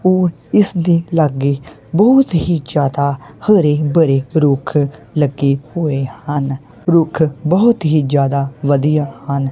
ਇਸਦੇ ਲਾਗੇ ਬਹੁਤ ਹੀ ਜਿਆਦਾ ਹਰੇ ਭਰੇ ਰੁੱਖ ਲੱਗੇ ਹੋਏ ਹਨ ਰੁੱਖ ਬਹੁਤ ਹੀ ਜਿਆਦਾ ਵਧੀਆ ਹਨ।